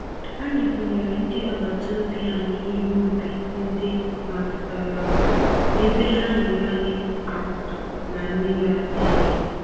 Anyị bunyere ndị àgbàtàobi anyị ihe ubi ndị mapụtara nụ, ebe ha nyere anyị ákwà na mmiri ara ehi.